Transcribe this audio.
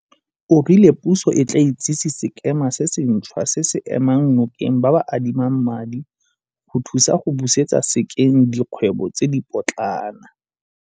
O rile puso e tla itsise sekema se sentšhwa se se emang nokeng ba ba adimang madi go thusa go busetsa sekeng dikgwebo tse dipotlana.